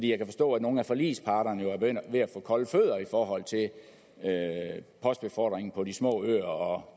jo forstå at nogle af forligsparterne er ved at få kolde fødder i forhold til postbefordringen på de små øer